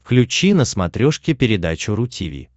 включи на смотрешке передачу ру ти ви